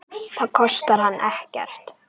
Það kostar hann ekkert.